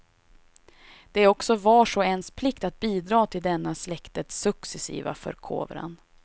Det är också vars och ens plikt att bidra till denna släktets successiva förkovran.